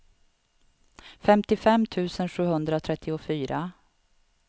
femtiofem tusen sjuhundratrettiofyra